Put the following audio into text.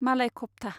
मालाय खफ्था